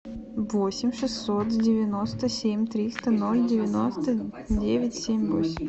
восемь шестьсот девяносто семь триста ноль девяносто девять семь восемь